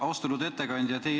Austatud ettekandja!